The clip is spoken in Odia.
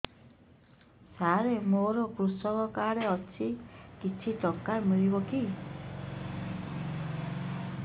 ସାର ମୋର୍ କୃଷକ କାର୍ଡ ଅଛି କିଛି ଟଙ୍କା ମିଳିବ କି